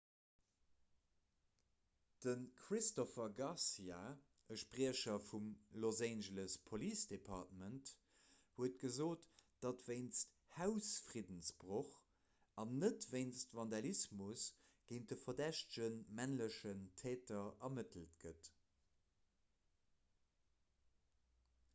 de christopher garcia e spriecher vum los angeles police department huet gesot datt wéinst hausfriddensbroch an net wéinst vandalismus géint de verdächtege männlechen täter ermëttelt gëtt